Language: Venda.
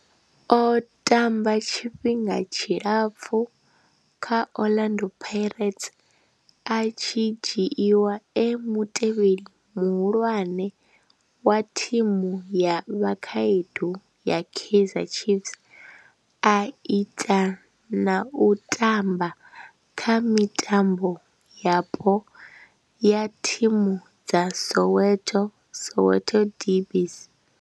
O tamba tshifhinga tshilapfhu kha Orlando Pirates, a tshi dzhiiwa e mutevheli muhulwane wa thimu ya vhakhaedu ya Kaizer Chiefs, a ita na u tamba kha mitambo yapo ya thimu dza Soweto, Soweto derbies.